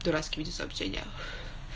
дурацкие эти сообщения